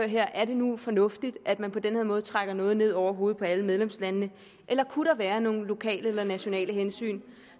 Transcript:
her er det nu fornuftigt at man på den her måde trækker noget ned over hovedet på alle medlemslandene eller kunne være nogle lokale eller nationale hensyn